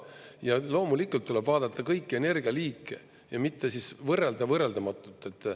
Ja loomulikult tuleb vaadata kõiki energialiike ja mitte siis võrrelda võrreldamatut.